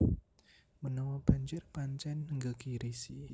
Menawa banjir pancen nggegirisi